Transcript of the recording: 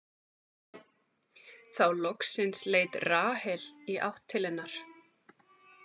Þá loksins leit Rahel í átt til hennar.